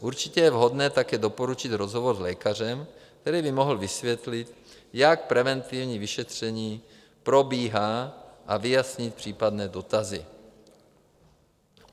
Určitě je vhodné také doporučit rozhovor s lékařem, který by mohl vysvětlit, jak preventivní vyšetření probíhá, a vyjasnit případné dotazy.